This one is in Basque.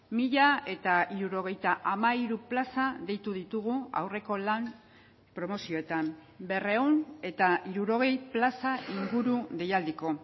mila hirurogeita hamairu plaza deitu ditugu aurreko lan promozioetan berrehun eta hirurogei plaza inguru deialdiko